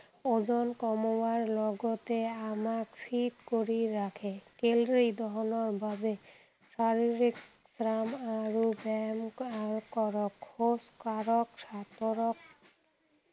ওজন কমোৱাৰ লগতে আমাক fit কৰি ৰাখে। calorie দহনৰ বাবে শাৰীৰিক শ্ৰাম আৰু ব্যায়াম আহ কৰক, খোজ কাঢ়ক, সাঁতোৰক